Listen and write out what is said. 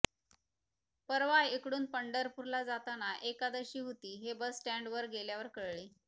परवा इकडून पंढरपूर ला जाताना एकादशी होती हे बस स्टैंड वर गेल्यावर कळले